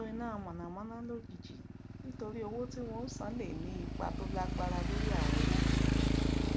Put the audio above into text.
àìtó iná mànàmáná lójijì nítorí owó tí wọn ò san lè ní ipa tó lágbára lórí àwọn òwò kéékèèké